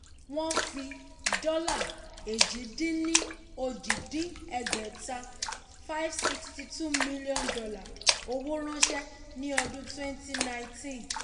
wọ́n fi dọ́là èjì-dín-ní-ojì dín ẹgbẹ́ta ($562m) owó ránṣẹ́ ní ọdún 2019.